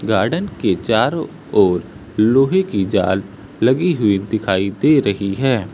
Garden के चारों ओर लोहे की जाल लगी हुई दिखाई दे रही है।